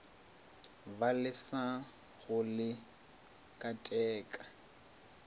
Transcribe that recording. ba lesa go le keteka